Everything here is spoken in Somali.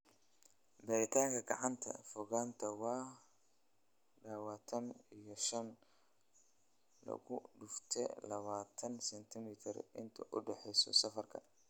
Beeritaanka gacanta, fogaanta waa tadhawatan iyo shan lagudufte labatan sentimitar inta u dhaxaysa safafka."